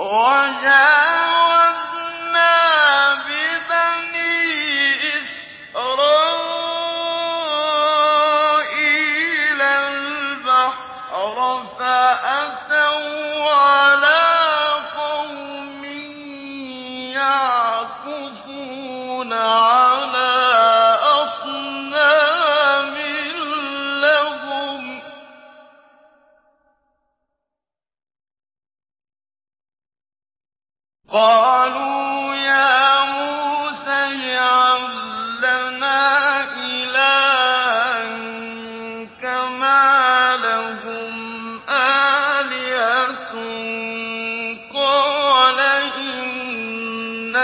وَجَاوَزْنَا بِبَنِي إِسْرَائِيلَ الْبَحْرَ فَأَتَوْا عَلَىٰ قَوْمٍ يَعْكُفُونَ عَلَىٰ أَصْنَامٍ لَّهُمْ ۚ قَالُوا يَا مُوسَى اجْعَل لَّنَا إِلَٰهًا كَمَا لَهُمْ آلِهَةٌ ۚ قَالَ إِنَّكُمْ